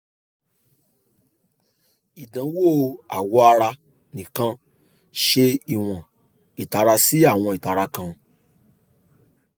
idanwo awọ ara nikan ṣe iwọn itara si awọn itara kan